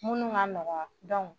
Minnu ka nɔgɔn dɔnku